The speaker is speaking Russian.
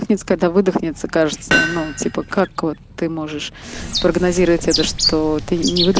ниц когда выдохнется кажется но типа как вот ты можешь прогнозировать это что ты не выдо